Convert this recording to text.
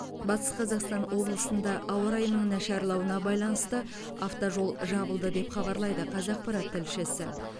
батыс қазақстан облысында ауа райының нашарлауына байланысты автожол жабылды деп хабарлайды қазақпарат тілшісі